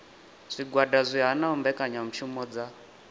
zwigwada zwi hanaho mbekanyamishumo dza